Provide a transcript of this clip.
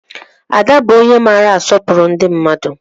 Ada bụ onye maara asọpụrụ ndị mmadụ